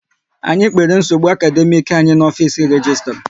Anyị kpere nsogbu akademiiki anyị n'ofisi registra